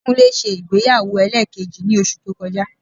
Kúnlé ṣe ìgbéyàwó ẹlẹ́ẹ̀kejì ní oṣù tó kọjá